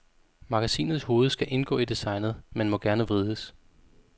Magasinets hoved skal indgå i designet, men må gerne vrides.